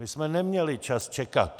My jsme neměli čas čekat.